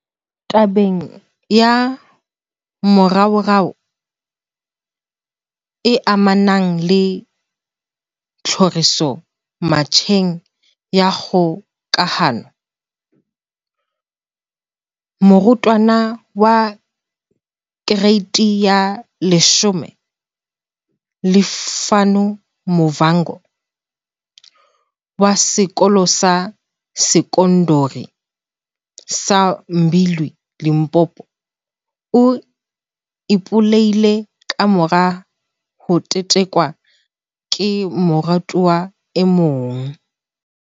Tabeng ya moraorao e amanang le tlhoriso metjheng ya kgokahano, morutwana wa kereiti ya 10 Lufuno Mavhunga, wa Sekolo sa Sekondari sa Mbilwi, Limpopo, o ipolaile kamora ho tetekwa ke morutwana e mong.